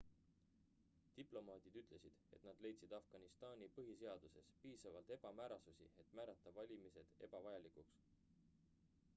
diplomaadid ütlesid et nad leidsid afganistani põhiseaduses piisavalt ebamäärasusi et määrata valimised ebavajalikuks